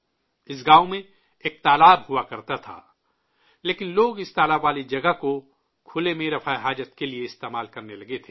اس گاؤں میں ایک تالاب ہوا کرتا تھا، لیکن لوگ اس تالاب والی جگہ کو کھلے میں رفع حاجت کے لیے استعمال کرنے لگے تھے